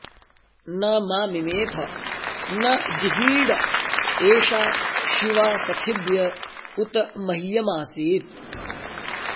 न मा॑ मिमेथ॒ न जि॑हीळ ए॒षा शि॒वा सखि॑भ्य उ॒त मह्य॑मासीत्